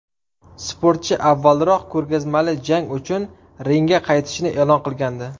Sportchi avvalroq ko‘rgazmali jang uchun ringga qaytishini e’lon qilgandi.